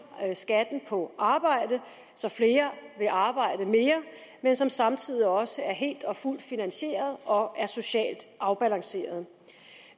skatten på arbejde så flere vil arbejde mere men som samtidig også er helt og fuldt finansieret og er socialt afbalanceret